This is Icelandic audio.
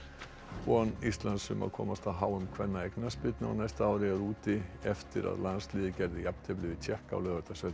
von Íslands um að komast á h m kvenna í knattspyrnu á næsta ári er úti eftir að landsliðið gerði jafntefli við Tékka á Laugardalsvelli